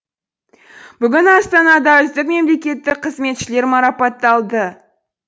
бүгін астанада үздік мемлекеттік қызметшілер марапатталды